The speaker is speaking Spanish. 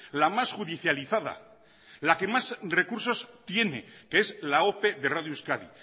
la más judicializada la que más recursos tiene que es la ope de radio euskadi